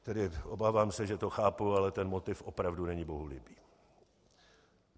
Tedy obávám se, že to chápu, ale ten motiv opravdu není bohulibý.